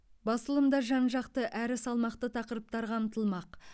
басылымда жан жақты әрі салмақты тақырыптар қамтылмақ